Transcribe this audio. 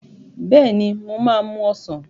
Bẹ́ẹ̀ ni, mo máa mú ọsàn.